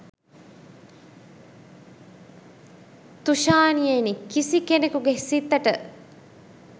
තුෂාණියෙනි කිසි කෙනෙකුගෙ හිතට